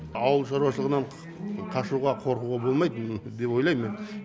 ауыл шаруашылығынан қашуға қорқуға болмайды деп ойлайм мен